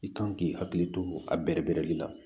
I kan k'i hakili to a bɛrɛbɛrɛli la